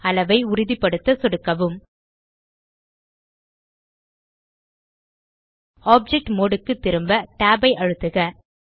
அளவை உறுதிபடுத்த சொடுக்கவும் ஆப்ஜெக்ட் மோடு க்கு திரும் tab ஐ அழுத்துக